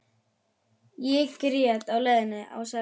Ég grét á leiðinni á Selfoss.